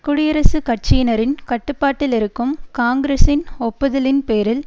குடியரசுக் கட்சியினரின் கட்டுப்பாட்டிலிருக்கும் காங்கிரசின் ஒப்புதலின் பேரில்